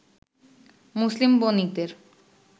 মুসলিম বণিকদের